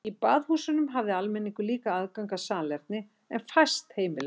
Í baðhúsunum hafði almenningur líka aðgang að salerni en fæst heimili höfðu þau.